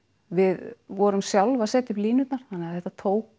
við vorum sjálf að setja niður línurnar þannig að þetta tók